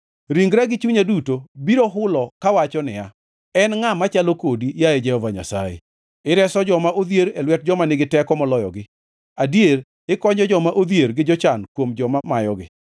Ringra gi chunya duto, biro hulo kawacho niya, “En ngʼa machalo kodi, yaye Jehova Nyasaye.” Ireso joma odhier e lwet joma nigi teko moloyogi, Adier, ikonyo joma odhier gi jochan kuom joma mayogi.